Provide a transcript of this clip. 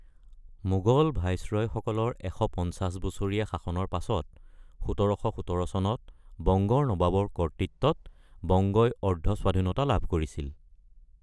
মোগল ভাইচৰয়সকলৰ ১৫০ বছৰীয়া শাসনৰ পাছত, ১৭১৭ চনত বংগৰ নবাবৰ কৰ্তৃত্বত বংগই অৰ্ধস্বাধীনতা লাভ কৰিছিল।